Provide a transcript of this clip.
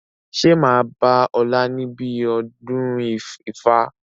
Ṣé máa bá ọ̀la níbi ọdún ifá?